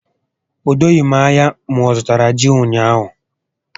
O doghi m ányá ma ọzụtara ji ụnyaahụ